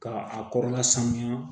Ka a kɔrɔla sanuya